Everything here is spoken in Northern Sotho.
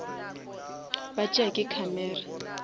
ba tšea ke camera